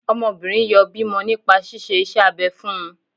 Ọmọbìnrin yọ bímọ nípa ṣíṣe iṣẹ́ abẹ fún un